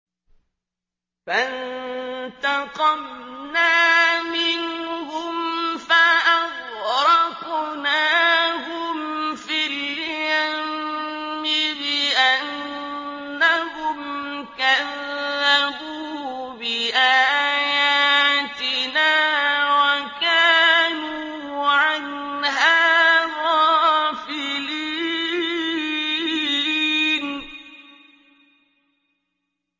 فَانتَقَمْنَا مِنْهُمْ فَأَغْرَقْنَاهُمْ فِي الْيَمِّ بِأَنَّهُمْ كَذَّبُوا بِآيَاتِنَا وَكَانُوا عَنْهَا غَافِلِينَ